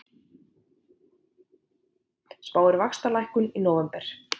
Spáir vaxtalækkun í nóvember